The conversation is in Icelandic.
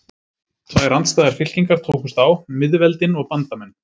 Tvær andstæðar fylkingar tókust á: miðveldin og bandamenn.